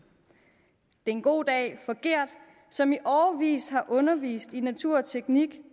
det er en god dag for gert som i årevis har undervist i naturteknik